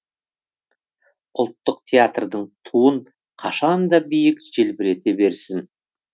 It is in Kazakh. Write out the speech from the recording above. ұлттық театрдың туын қашан да биік желбірете берсін